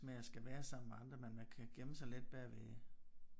Med at skal være sammen med andre men man kan gemme sig lidt bagved